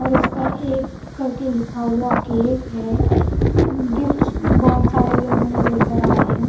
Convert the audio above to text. और इसका एक करके लिखा हुआ केक है इम्म गिफ्ट्स बहुत सारे लोगों ने लेकर आए हैं।